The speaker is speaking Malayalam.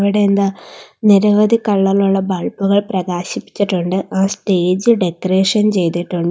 ഇവിടെ എന്താ നിരവധി കളർ ഇലുള്ള ബൾബുകൾ പ്രകാശിപ്പിച്ചിട്ടുണ്ട് ആ സ്റ്റേജ് ഡെക്കറേഷൻ ചെയ്തിട്ടുണ്ട്.